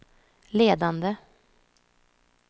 ledande